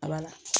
A bala